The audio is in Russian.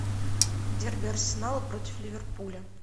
дерби арсенала против ливерпуля